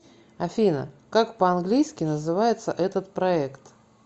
афина как по английски называется этот проект